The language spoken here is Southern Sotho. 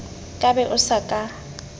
ka be o sa ka